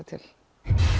til